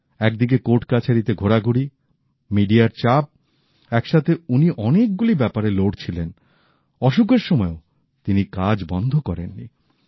এক দিকে কোর্ট কাছারীতে ঘোরাঘুরি মিডিয়ার চাপ এক সাথে উনি অনেক গুলি ব্যাপারে লড়ছিলেন অসুখের সময়েও তিনি কাজ বন্ধ করেন নি